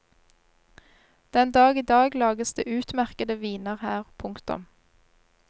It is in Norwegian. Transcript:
Den dag i dag lages det utmerkede viner her. punktum